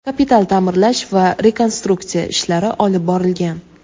kapital ta’mirlash va rekonstruksiya ishlari olib borilgan.